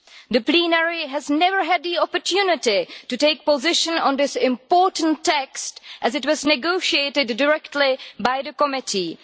The plenary has never had the opportunity to take a position on this important text, as it was negotiated directly by the Committee.